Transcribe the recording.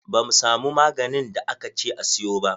Ba mu samu maganin da aka ce a siyo ba.